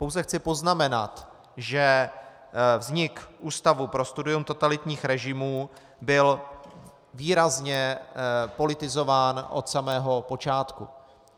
Pouze chci poznamenat, že vznik Ústavu pro studium totalitních režimů byl výrazně politizován od samého počátku.